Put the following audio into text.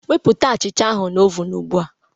Wepụta achicha ahụ na oven ugbu a